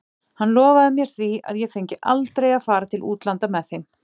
Hann lofaði mér því að ég fengi aldrei að fara til útlanda með þeim.